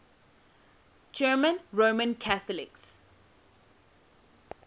german roman catholics